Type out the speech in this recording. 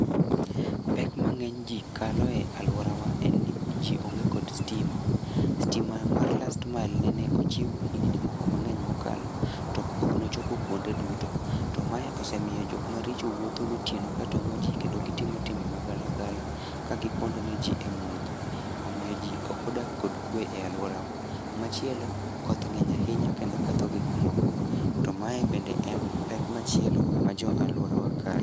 Pek mang'eny ji kaloe alworawa en ni ji onge kod stima. Stima mar last mile nene ochiw higni moko mang'eny mokalo to ok nochopo kuonde duto. To mae osemiyo jokmaricho wuotho gotieno katong'o ji kendo gitimo timbe magalagala ka giponde ne ji e mudho. Omiyo ji ok odak kod kwe e alworawa. Machielo, koth ng'eny ahinya kendo ketho gikmoko to mae bende en pek machielo ma jo alworawa kale.